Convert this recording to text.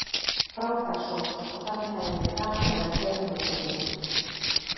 Frábær sókn og þarna hefði verið gaman að vera tveimur mörkum yfir.